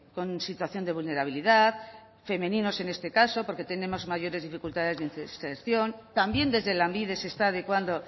con situación de vulnerabilidad femeninos en este caso porque tenemos mayores dificultades de inserción también desde lanbide se está adecuando